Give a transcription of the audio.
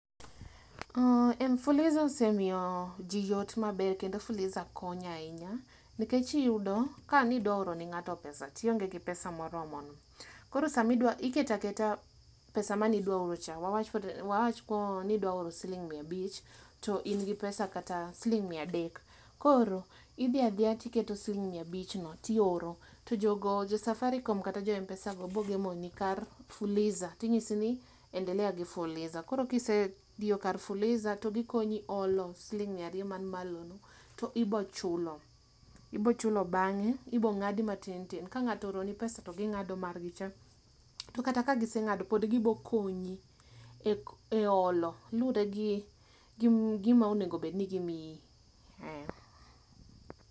Fuliza osemiyo jii yot maber kendo fuliza konyo ahinya, nikech iyudo kane idwa oro ne ngato pesa to ionge gi pesa moromo no, koro sama idwa, iketo aketa pesa mane idwa oro cha, wawach koro ni idwa oro siling mia abich toin gi siling kata mia adek, koro idhi adhiya tiketo siling mia abich no tioro, to jogo, jo Safaricom go kata jo Mpesa go biro gemo ni kar fuliza tinyisi ni endelea gi fuliza. koro kisediyo kar fuliza to gikonyi olo siling mia ariyo man malo no to ibo chulo. Ibo chulo bange, ibo ngadi matin tin, kangato ooroni pesa to gingado margi cha, to kata ka gisengado pod gibo konyi e olo, luregi gima onego obed ni gimiyi ,eeh